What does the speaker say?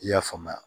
I y'a faamuya